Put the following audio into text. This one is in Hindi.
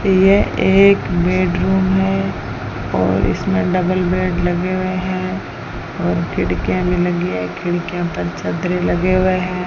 यह एक बेडरूम है और इसमें डबल बेड लगे हुए हैं और खिड़कियां भी लगी हैं खिड़कियां पर चद्दरें लगे हुए हैं।